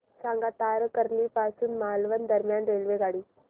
सांगा तारकर्ली पासून मालवण दरम्यान रेल्वेगाडी